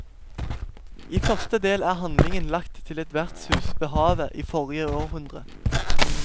I første del er handlingen lagt til et vertshus ved havet i forrige århundre.